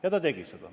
Ja ta tegi seda.